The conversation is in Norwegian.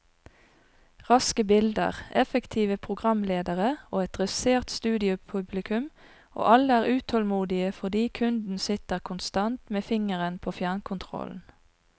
Raske bilder, effektive programledere og et dressert studiopublikum, og alle er utålmodige fordi kunden sitter konstant med fingeren på fjernkontrollen.